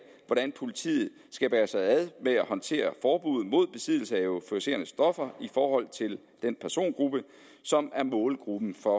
hvordan politiet skal bære sig ad med at håndtere forbuddet mod besiddelse af euforiserende stoffer i forhold til den persongruppe som er målgruppen for